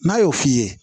N'a y'o f'i ye